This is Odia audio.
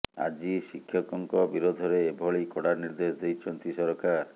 ଆଜି ଶିକ୍ଷକଙ୍କ ବିରୋଧରେ ଏଭଳି କଡା ନିର୍ଦ୍ଦେଶ ଦେଇଛନ୍ତି ସରକାର